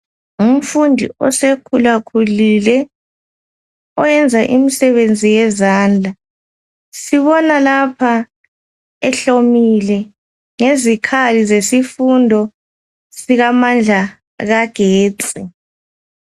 Ngumfundi osekhula khulile oyenza imisebenzi yezandla. Sibona lapha ehlomile ngezikhali zesifundo sikamandla kagetsi.